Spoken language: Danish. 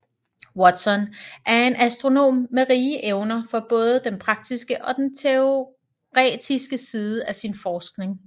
Watson var en astronom med rige evner for både den praktiske og den teoretiske side af sin forskning